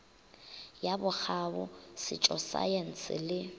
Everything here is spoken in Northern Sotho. ya bokgabo setšo saense le